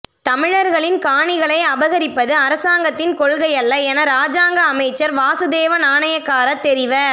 தமிழர்களின் காணிகளை அபகரிப்பது அரசாங்கத்தின் கொள்கையல்ல என இராஜாங்க அமைச்சர் வாசுதேவ நாணயக்கார தெரிவ